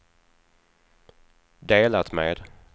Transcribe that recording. delat med